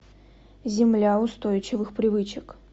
земля устойчивых привычек